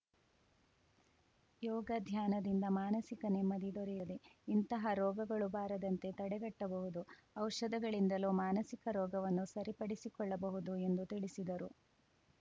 ಯೋಗ ಧ್ಯಾನದಿಂದ ಮಾನಸಿಕ ನೆಮ್ಮದಿ ದೊರೆಯುತ್ತದೆ ಇಂತಹ ರೋಗಗಳು ಬಾರದಂತೆ ತಡೆಗಟ್ಟಬಹುದು ಔಷಧಗಳಿಂದಲೂ ಮಾನಸಿಕ ರೋಗವನ್ನು ಸರಿಪಡಿಸಿಕೊಳ್ಳಬಹುದು ಎಂದು ತಿಳಿಸಿದರು